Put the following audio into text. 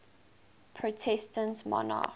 protestant monarchs